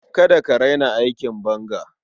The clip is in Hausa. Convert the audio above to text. Kada ka raina aikin banga.